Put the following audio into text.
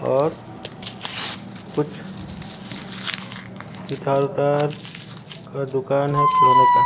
और कुछ इधर उधर का दुकान है खिलौने का।